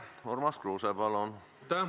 Urmas Kruuse, palun!